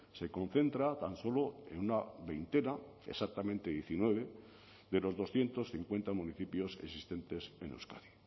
se concentra tan solo en una veintena exactamente diecinueve de los doscientos cincuenta municipios existentes en euskadi